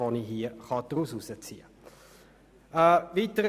Ich möchte auf Folgendes hinweisen: